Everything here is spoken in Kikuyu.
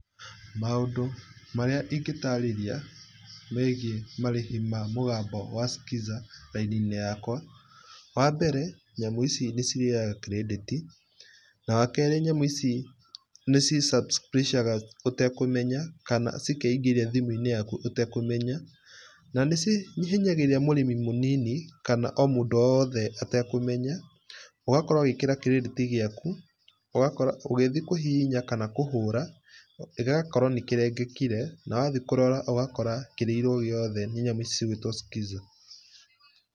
Maũndũ marĩa ingĩtarĩria megiĩ marĩhi ma mũgambo wa Skiza raini-inĩ yakwa. Wambere nicirĩaga kredĩti na wakerĩ nyamũ ici nĩci subscribe ga ũtakũmenya kanacikeingĩria thimũ-inĩ yaku ũtekũmenya. Nanĩ cihinyagĩrĩria mũrĩmi mũnini kana o mũndũ o wothe atekũmenya. ũgakora ũgĩkĩra kredĩti ciaku. ũgakora ũgĩthiĩ kũhihinya kana kũhũra ũgakora nĩkĩrengekire na wathiĩ kũrora ũgakora kĩrĩirwo gĩũthi nĩ nyamũ cigũĩtwo skiza.